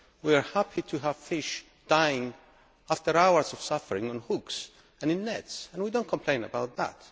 We are happy to have fish dying after hours of suffering on hooks and in nets and we do not complain about that.